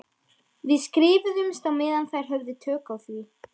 Við skrifuðumst á meðan þær höfðu tök á því.